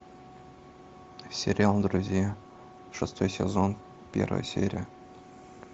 сериал друзья шестой сезон первая серия